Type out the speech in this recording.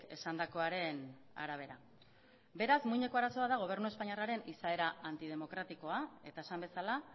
esandakoaren arabera beraz muineko arazoa da gobernu espainiarraren izaera antidemokratikoa eta esan bezala